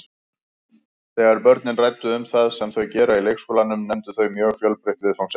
Þegar börnin ræddu um það sem þau gera í leikskólanum nefndu þau mjög fjölbreytt viðfangsefni.